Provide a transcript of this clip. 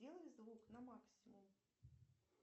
сделай звук на максимум